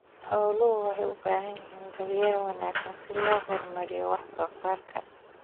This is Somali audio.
Xooluhu waxay u baahan yihiin daryeel wanaagsan si loo horumariyo wax soo saarka.